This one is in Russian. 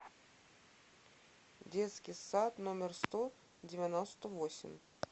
детский сад номер сто девяносто восемь